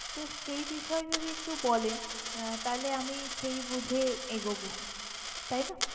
তো সেই বিষয় যদি একটু বলেন আহ তাহলে সেই বুঝে আমি এগোবো তাই না?